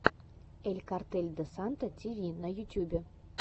эль картель де санта ти ви на ютубе